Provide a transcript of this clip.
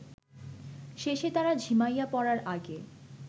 শেষে তারা ঝিমাইয়া পড়ার আগে